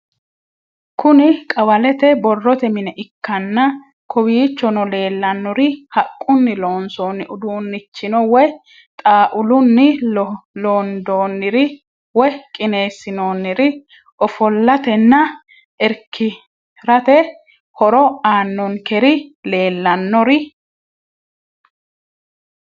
Kuni qawalete boroote mine ikanna kowichono leelanori haqquni loonsoni udunichino woyi xauluni londoniri woyi qinesinonir ofolatena irikirate hooro aanonkerin leelanori?